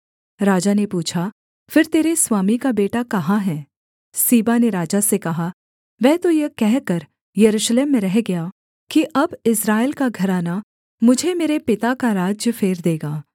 राजा ने पूछा फिर तेरे स्वामी का बेटा कहाँ है सीबा ने राजा से कहा वह तो यह कहकर यरूशलेम में रह गया कि अब इस्राएल का घराना मुझे मेरे पिता का राज्य फेर देगा